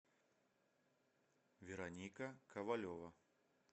вероника ковалева